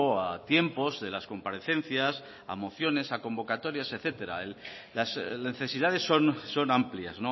a tiempos de las comparecencias a mociones a convocatorias etcétera las necesidades son amplias